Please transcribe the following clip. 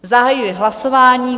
Zahajuji hlasování.